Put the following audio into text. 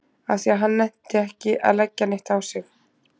Af því að hann nennti ekki að leggja neitt á sig.